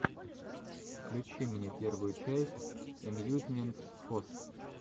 включи мне первую часть эмьюзмент фос